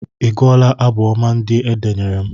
A gụọla m abụ ọma ndị e denyere m.